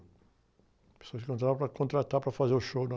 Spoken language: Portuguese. O pessoal se encontrava para contratar, para fazer o show na...